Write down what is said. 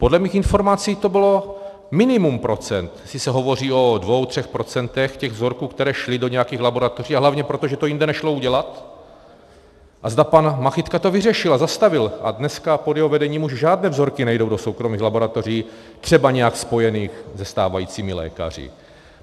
Podle mých informací to bylo minimum procent, jestli se hovoří o dvou třech procentech těch vzorků, které šly do nějakých laboratoří, a hlavně proto, že to jinde nešlo udělat, a zda pan Machytka to vyřešil a zastavil a dneska pod jeho vedením už žádné vzorky nejdou do soukromých laboratoří třeba nějak spojených se stávajícími lékaři.